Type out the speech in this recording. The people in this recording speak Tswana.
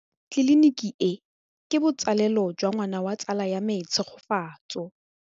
Tleliniki e, ke botsalêlô jwa ngwana wa tsala ya me Tshegofatso.